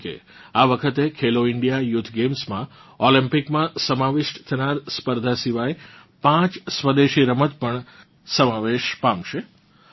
જેમ કે આ વખતે ખેલો ઇન્ડિયા યૂથ ગેમ્સમાં ઓલમ્પિકમાં સમાવિષ્ટ થનાર સ્પર્ધા સિવાય પાંચ સ્વદેશી રમત પણ સમાવેશ પામશે